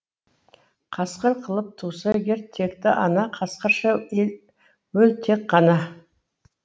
қасқыр қылып туса егер текті ана қасқырша өл тек қана